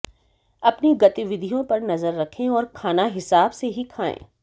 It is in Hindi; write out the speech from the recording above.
अपनी गतिविधियों पर नजर रखें और खाना हिसाब से ही खाएं